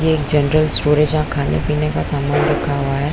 ये एक general store है जहाँ खाने-पीने का सामान रखा हुआ है।